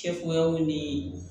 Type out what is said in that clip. Kɛcogoyaw ni